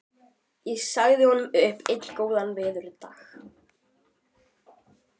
Ég sagði honum upp einn góðan veðurdag á